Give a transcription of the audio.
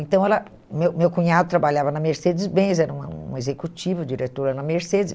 Então ela, meu meu cunhado trabalhava na Mercedes-Benz, era uma executiva, diretora na Mercedes.